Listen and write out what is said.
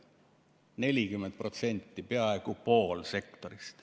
40% on peaaegu pool sektorist.